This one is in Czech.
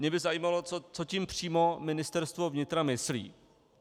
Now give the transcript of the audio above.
Mě by zajímalo, co tím přímo Ministerstvo vnitra myslí.